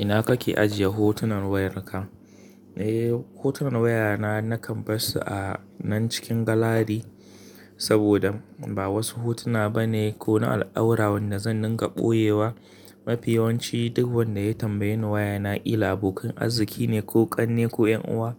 Ina kake ajiye hotunan wayarka? Eh, hotunan wayana na ka barsu a nan cikin galari, saboda ba wasu hotuna bane ko na al'aurawan da zan dinga ɓoyewa. Mafi yawanci duk wanda ya tambaye ni wayana, illa abokan arziki ne ko ƙanne ko yan uwa,